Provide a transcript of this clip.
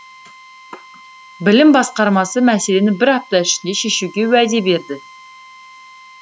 білім басқармасы мәселені бір апта ішінде шешуге уәде берді